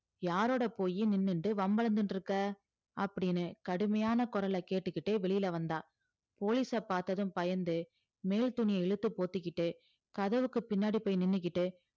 யாரோட போயி நின்னுண்டு வம்புல நின்ருக்க அப்டின்னு கடுமையான குரல்ல கேட்டுகிட்டு வெளில வந்தா police அ பாத்ததும் பயந்து மேல் துனுய இழுத்து பொத்திகிட்டு கதவுக்கு பின்னாடி போய் நின்னுகிட்டு